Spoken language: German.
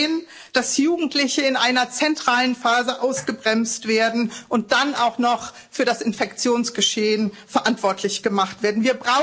Und wir sehen, dass Jugendliche in einer zentralen Phase ausgebremst werden und dann auch noch für das Infektionsgeschehen verantwortlich gemacht werden.